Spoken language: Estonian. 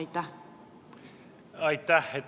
Aitäh!